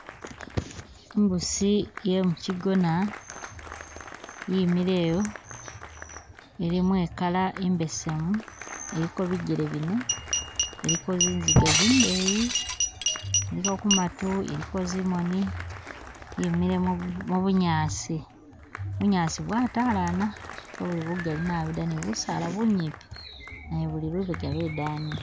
Imbuusi yemu'kyigona yimile ewo, ilimo e'color imbesemu ,iliko bijjele bine ,iliko zinziga zindeyi, iliko kumaatu, iliko zimoni, yimile mu mu bunyaasi ,bunyaasi bwatalana, kebuli bugali nabi dda, ne busaala bunyipi nabo buli lubega lwe'dani